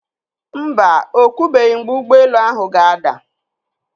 Mba, o kwubeghi mgbe ụgbọelu ahụ ga-ada.